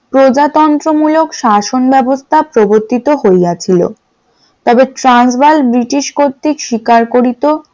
প্রজাতন্ত্র মুলক শাসন ব্যবস্থা প্রবর্তিত হইয়াছিল তাদের ট্রান্সবার্গ ব্রিটিশ কর্তৃক স্বীকার করিত ।